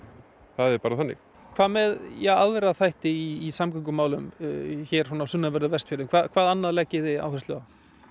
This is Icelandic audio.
það er bara þannig hvað með ja aðra þætti í samgöngumálum hér á sunnanverðum Vestfjörðum hvað annað leggið þið áherslu á